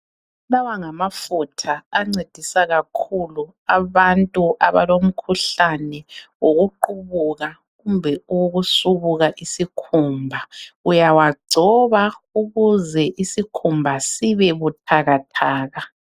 Lawa ngamafutha ancedisa kakhulu abantu abalomkhuhlane wokuqubuka kumbe owokusubuka isikhumba. Uyawagcoba ukuze isikhumba sibebuthakathaka.